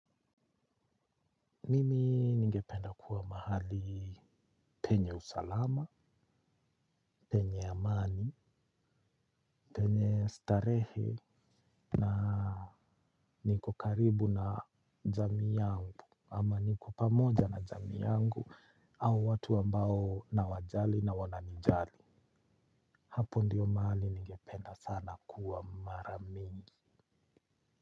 Mimi ningependa kuwa mahali penye usalama, penye amani. Penye starehe na niko karibu na jamii yangu, ama niko pamoja na jamii yangu, au watu ambao nawajali na wananijali. Hapo ndiyo mahali ningependa sana kuwa mara mingi.